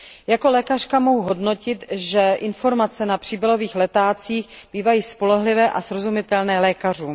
Jako lékařka mohu hodnotit, že informace na příbalových letácích bývají spolehlivé a srozumitelné lékařům.